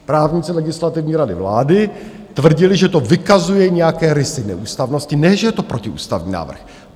Právníci Legislativní rady vlády tvrdili, že to vykazuje nějaké rysy neústavnosti, ne že je to protiústavní návrh.